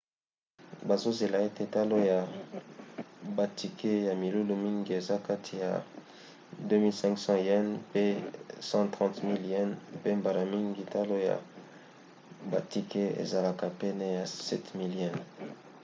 bazozela ete talo ya batike ya milulu mingi eza kati ya ¥2 500 pe ¥130 000 mpe mbala mingi talo ya batike ezalaka pene ya ¥7 000